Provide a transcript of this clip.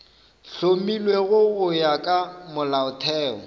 hlomilwego go ya ka molaotheo